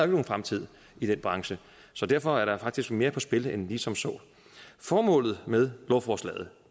nogen fremtid i den branche så derfor er der faktisk mere på spil end som så formålet med lovforslaget